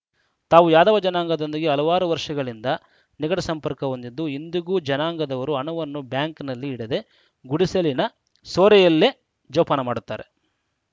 ತಾವು ಯಾದವ ಜನಾಂಗದೊಂದಿಗೆ ಹಲವಾರು ವರ್ಷಗಳಿಂದ ನಿಕಟ ಸಂಪರ್ಕ ಹೊಂದಿದ್ದು ಇಂದಿಗೂ ಜನಾಂಗದವರು ಹಣವನ್ನು ಬ್ಯಾಂಕ್‌ನಲ್ಲಿ ಇಡದೆ ಗುಡಿಸಲಿನ ಸೋರೆಯಲ್ಲೇ ಜೋಪಾನ ಮಾಡುತ್ತಾರೆ